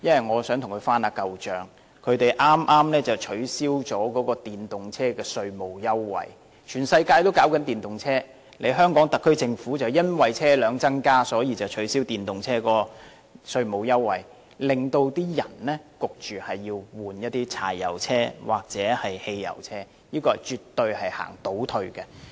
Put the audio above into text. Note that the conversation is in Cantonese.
我想跟局方翻舊帳，他們剛剛取消了電動車的稅務優惠，全世界也在推廣電動車，但香港特區政府卻因為車輛數目增加而取消電動車的稅務優惠，迫使市民更換柴油車或汽油車，這絕對是個倒退。